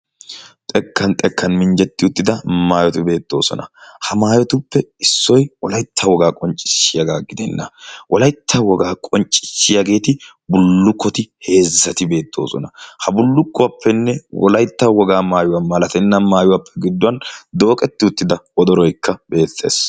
Xekkan xekkan minjjetti uttida maayoti beettoosona ha maayotuppe issoi wolaitta wogaa qonccissiyaagaa gidenna wolaytta wogaa qonccissiyaageeti bullukkoti heezzati beettoosona. ha bullukkuwaappenne wolaitta wogaa maayuwaa malatenna maayuwaappe gidduwan dooqetti uttida odoroikka beettees.